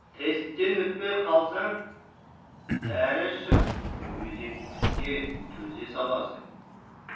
тесттен өтпей қалсаң дәрі ішіп мүгедектікке төзе саласың